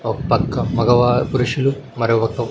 ఓక్పక్క మగవా పురుషులు మరోపక్క--